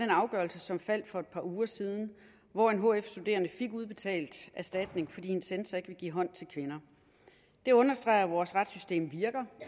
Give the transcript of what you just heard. afgørelse som faldt for et par uger siden hvor en hf studerende fik udbetalt erstatning fordi en censor ikke ville give hånd til kvinder det understreger at vores retssystem virker